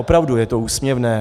Opravdu je to úsměvné.